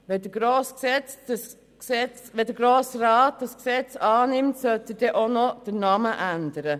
Wenn der Grosse Rat das Gesetz annimmt, sollte er dann auch noch den Namen ändern.